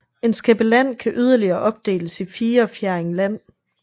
En skæppe land kan yderligere opdeles i fire fjerding land